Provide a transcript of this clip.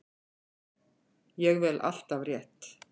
Ég vel alltaf rétt.